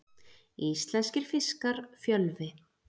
Íslenskir fiskar, Fjölvi.